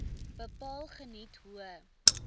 bepaal geniet hoë